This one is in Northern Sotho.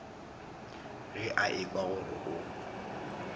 ge a ekwa gore o